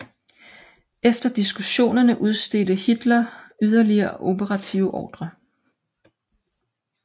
Efter diskussionerne udstedte Hitler yderligere operative ordrer